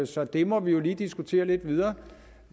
så det må vi jo lige diskutere lidt videre